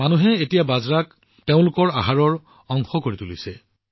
মানুহে এতিয়া বাজৰাক তেওঁলোকৰ আহাৰৰ অংশ কৰি তুলিছে